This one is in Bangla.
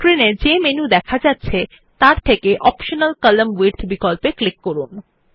স্ক্রিন এ যে মেনু দেখা যাচ্ছে তাতে অপ্টিমাল কলাম্ন উইডথ বিকল্পে ক্লিক করুন